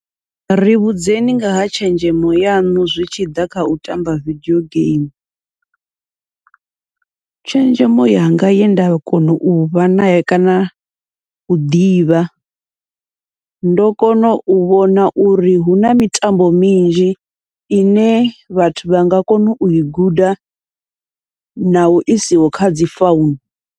Ri vhudzekani ngaha tshenzhemo yaṋu zwi tshi ḓa kha u tamba vidio geimi, tshenzhemo yanga yenda kona uvha nayo kana u ḓivha, ndo kona u vhona uri huna mitambo minzhi ine vhathu vha nga kona ui guda naho isiho kha dzi founu.